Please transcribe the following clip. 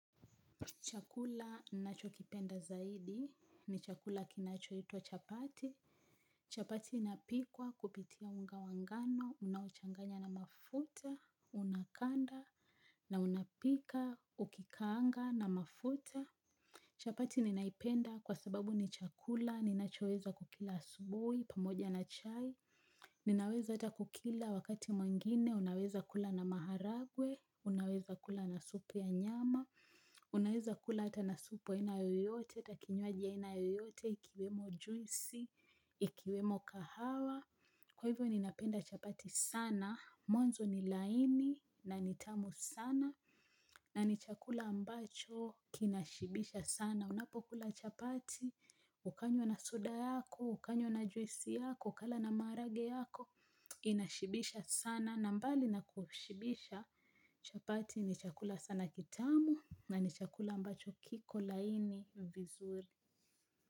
Chakula nachokipenda zaidi, ni chakula kinachoitwa chapati. Chapati inapikwa kupitia unga wa ngano, unaochanganya na mafuta, unakanda, na unapika, ukikaanga na mafuta. Chapati ninaipenda kwa sababu ni chakula, ninachoweza kukila asubui, pamoja na chai. Ninaweza hata kukila wakati mwengine, unaweza kula na maharagwe, unaweza kula na supu ya nyama. Unaeza kula hata na supu aina yoyote, hata kinywaji ya aina yoyote, ikiwemo juisi, ikiwemo kahawa. Kwa hivyo ninapenda chapati sana, mwanzo ni laini na ni tamu sana. Na ni chakula ambacho kinashibisha sana. Unapokula chapati, ukanywa na soda yako, ukanywa na juisi yako, ukala na maharage yako. Inashibisha sana, na mbali na kushibisha chapati ni chakula sana kitamu. Na ni chakula ambacho kiko laini vizuri.